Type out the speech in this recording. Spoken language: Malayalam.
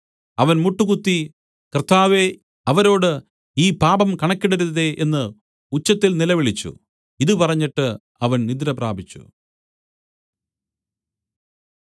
അവൻ മുട്ടുകുത്തി കർത്താവേ അവരോട് ഈ പാപം കണക്കിടരുതേ എന്ന് ഉച്ചത്തിൽ നിലവിളിച്ചു ഇതു പറഞ്ഞിട്ട് അവൻ നിദ്രപ്രാപിച്ചു